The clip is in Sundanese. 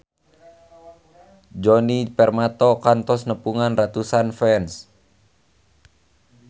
Djoni Permato kantos nepungan ratusan fans